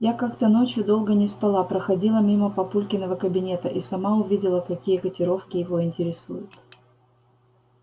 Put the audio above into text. я как-то ночью долго не спала проходила мимо папулькиного кабинета и сама увидела какие котировки его интересуют